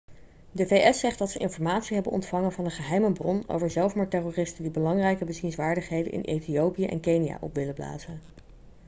de vs zegt dat ze informatie hebben ontvangen van een geheime bron over zelfmoordterroristen die belangrijke bezienswaardigheden in ethiopië en kenia op willen blazen